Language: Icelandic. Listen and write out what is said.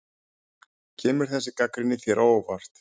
Kemur þessi gagnrýni þér á óvart?